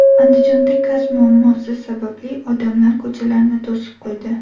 Andijonda gaz muammosi sababli odamlar ko‘chalarni to‘sib qo‘ydi .